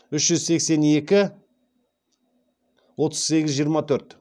үш жүз сексен екі отыз сегіз жиырма төрт